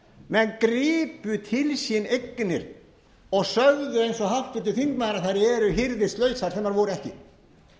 menn gripu til sín eignir og sögðu eins og þingmaður þær eru hirðislausar sem þær voru ekki af hverjum